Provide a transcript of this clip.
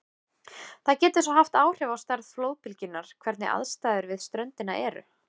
Það getur svo haft áhrif á stærð flóðbylgjunnar hvernig aðstæður við ströndina eru.